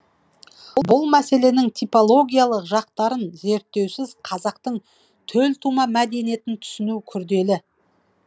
бұл мәселенің типологиялық жақтарын зерттеусіз қазақтың төлтума мәдениетін түсіну күрделі